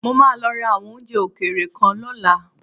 Mo máa lọ ra àwọn oúnjẹ òkèèrè kan lọ́la.